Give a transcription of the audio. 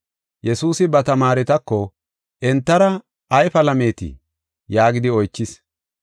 Yesuusi ba tamaaretako, “Entara ay palameetii?” yaagidi oychis.